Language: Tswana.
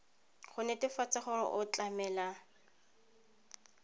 go netefatsa gore o tlamela